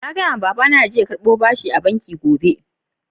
Na gaya ma baba na yaje karɓan aro a'banki gobe.